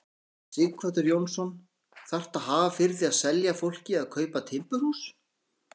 Sighvatur Jónsson: Þarftu að hafa fyrir því að selja fólki að kaupa timburhús?